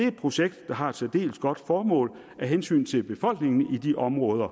et projekt der har et særdeles godt formål af hensyn til befolkningen i de områder